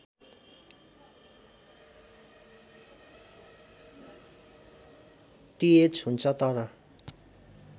टिएच हुन्छ तर